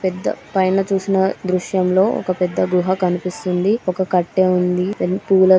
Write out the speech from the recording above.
పెద్ద పైన చూసిన దృశ్యంలో ఒక పెద్ద గృహ కనిపిస్తుంది ఒక కట్టే ఉంది. దాని పూలతో --